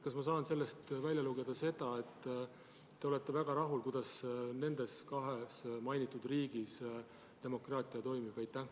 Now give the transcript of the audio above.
Kas ma saan sellest välja lugeda, et te olete väga rahul sellega, kuidas nendes kahes mainitud riigis demokraatia toimib?